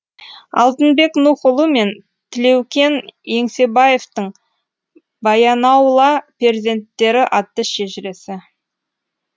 алтынбек нұхұлы мен тілеукен еңсебаевтың баянаула перзенттері атты шежіресі